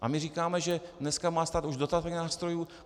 A my říkáme, že dnes má stát už dostatek nástrojů.